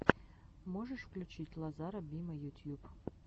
можешь включить лазара бима ютьюб